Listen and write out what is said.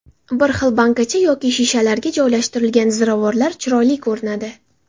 Bir xil bankacha yoki shishalarga joylashtirilgan ziravorlar chiroyli ko‘rinadi.